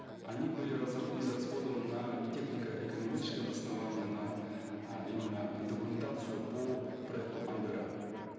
они были израсходованы на технико экономическое обоснование на э именно э документацию по проекту ангара